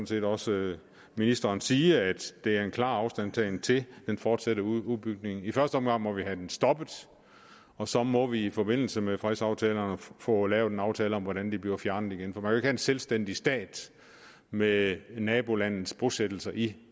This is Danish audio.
set også ministeren sige altså at det er en klar afstandtagen til den fortsatte udbygning i første omgang må vi have den stoppet og så må vi i forbindelse med fredsaftalerne få lavet en aftale om hvordan de bliver fjernet igen for man kan en selvstændig stat med nabolandets bosættelser i